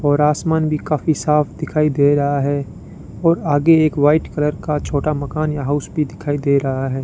और आसमान भी काफी साफ दिखाई दे रहा है और आगे एक व्हाइट कलर का छोटा मकान या हाउस भी दिखाई दे रहा है।